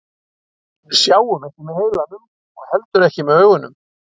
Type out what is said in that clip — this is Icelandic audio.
Við sjáum ekki með heilanum og heldur ekki með augunum.